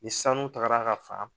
Ni sanu tagara a ka fan